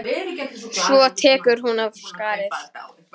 Svo tekur hún af skarið.